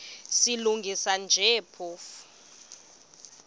silungisa nje phofu